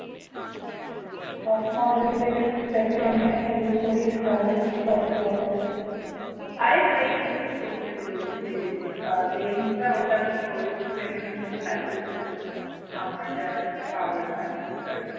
আরে frame use করতে বলছে lens টা ওটা নিয়ে ওর frame টার মধ্যে লাগিয়ে দেখো আমার যার cover থাকতে ওটার